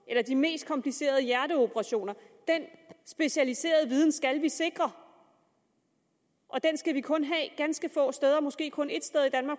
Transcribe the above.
eller de mest komplicerede hjerteoperationer den specialiserede viden skal vi sikre og den skal vi kun have ganske få steder måske kun ét sted i